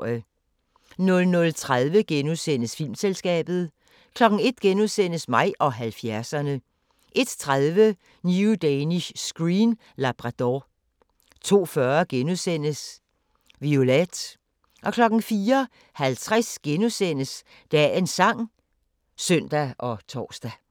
00:30: Filmselskabet * 01:00: Mig og 70'erne * 01:30: New Danish Screen: Labrador 02:40: Violette * 04:50: Dagens sang *(søn og tor)